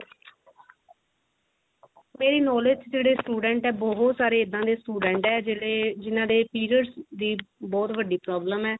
ਮੇਰੀ knowledge ਦੇ ਵਿੱਚ ਜਿਹੜੇ student ਹੈ ਬਹੁਤ ਸਾਰੇ ਇਦਾਂ ਦੇ student ਆ ਜਿਹੜੇ ਜਿ ਹਨਾਂ ਦੇ periods ਦੀ ਬਹੁਤ ਵਡੀ problem ਹੈ